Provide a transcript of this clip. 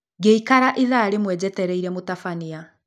Ngĩikara ithaa rĩmwe njetereire mũtabania